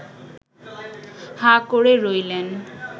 হাঁ করে রইলেন